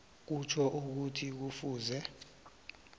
kutjho ukuthi kufuze